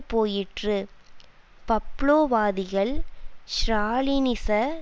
போயிற்று பப்லோவாதிகள் ஸ்ராலினிச